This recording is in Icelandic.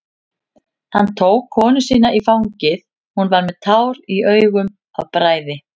Hann tók konu sína í fangið, hún var með tár í augum af bræði.